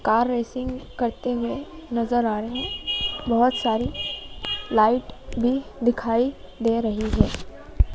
Car racing करते हुए नजर आ रहे है बहोत सारी लाइट भी दिखाई दे रही है।